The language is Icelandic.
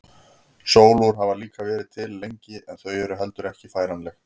Sólúr hafa líka verið til lengi en þau eru heldur ekki færanleg.